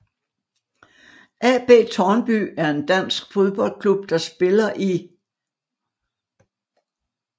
AB Tårnby er en dansk fodboldklub der spiller i